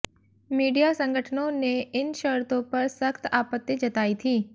media संगठनों ने इन शर्तों पर सख्त आपत्ति जताई थी